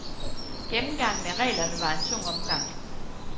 Gennemgangen af reglerne var en tung omgang.